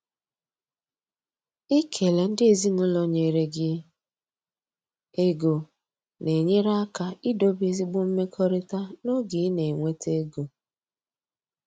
Ikele ndị ezinụlọ nyere gi ego na-enyere aka idobe ezigbo mmekọrịta n’oge ị na-enweta ego.